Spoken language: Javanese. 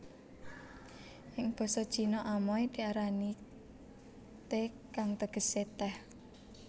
Ing basa Cina Amoy diarani Te kang tegesé tèh